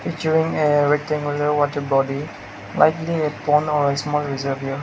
during a rectangular water body likely a pond or small reservoir.